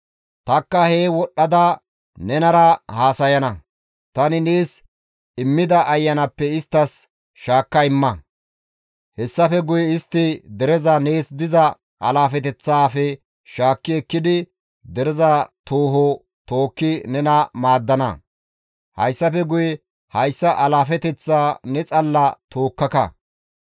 Tanikka hee wodhdhada nenara haasayana; tani nees immida ayanaappe isttas shaakka immana; hessafe guye istti dereza nees diza alaafeteththaafe shaakki ekkidi dereza tooho tookki nena maaddana; hayssafe guye hayssa alaafeteththaa ne xalla tookkaka.